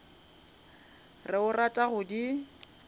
re o rata go di